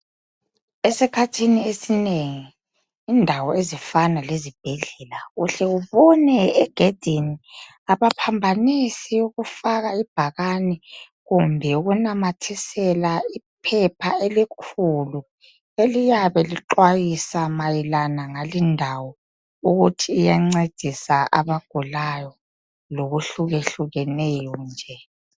Esikhathini esinengi indawo ezifana lezibhedlela uhle ubone egedini abaphambanisi ukufaka ibhakani kumbe ukunamathisela iphepha elikhulu eliyabe lixwayisa mayelana ngali ndawo ukuthi iyancedisa abagulayo loku hlukehlukeneyo nje.